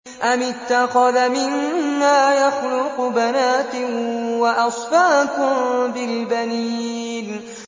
أَمِ اتَّخَذَ مِمَّا يَخْلُقُ بَنَاتٍ وَأَصْفَاكُم بِالْبَنِينَ